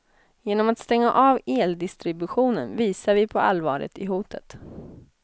Genom att stänga av eldistributionen visar vi på allvaret i hotet.